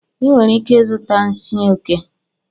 Ị nwere ike ịzụta nsi oke